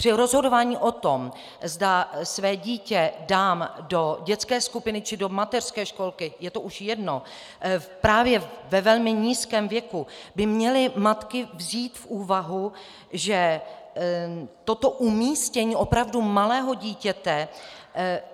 Při rozhodování o tom, zda své dítě dám do dětské skupiny či do mateřské školky, je to už jedno, právě ve velmi nízkém věku, by měly matky vzít v úvahu, že toto umístění opravdu malého dítěte